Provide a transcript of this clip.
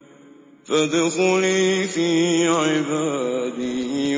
فَادْخُلِي فِي عِبَادِي